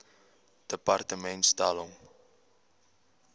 departement stel hom